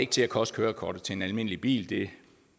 til at koste kørekortet til en almindelig bil det